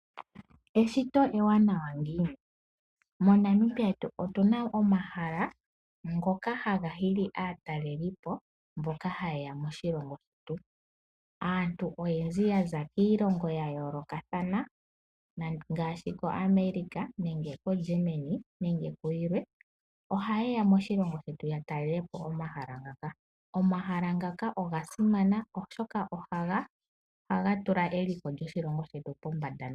Eshito ewanawa ngiini? MoNamibia otu na omahala ngoka haga hili aatalelipo mboka haye ya moshilongo shetu. Aantu oyendji ya za kiilongo ya yoolokathana ngaashi koAmerica nenge koGermany nayilwe ohaye ya moshilongo shetu ya talele po omahala ngaka. Omahala ngaka oga simana, oshoka ohaga tula eliko lyoshilongo shetu pombanda.